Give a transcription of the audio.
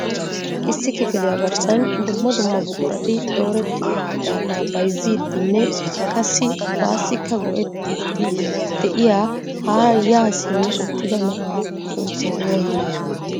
Issi kifiliya garssan dumma dumma buqurati dooretti uttidaaga bayzzidinne qassi baassika go"ettidi de'iyaa haara ya simmidi uttida na'a sunttay oonee?